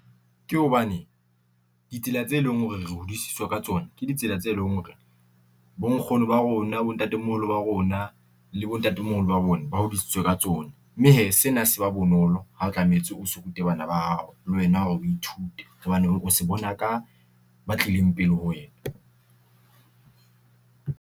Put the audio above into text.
Ke hobane ditsela tse leng hore re hodisitswe ka tsona ke ditsela tse leng hore bonkgono ba rona, bontatemoholo ba rona le bontatemoholo ba rona ba hodisitswe ka tsona, mme hee sena se ba bonolo ha o tlametse o se rute bana ba hao le wena, o ithute hobane o se bona ka ba tlileng pele ho wena.